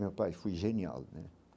Meu pai foi genial, né?